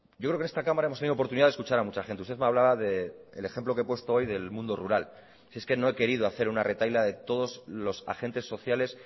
yo creo que en esta cámara hemos tenido oportunidad de escuchar a mucha gente usted me hablaba del ejemplo que he puesto hoy del mundo rural si es que no he querido hacer una retahíla de todos los agentes sociales